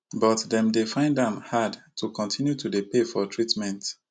but dem dey find am hard to continue to dey pay for treatment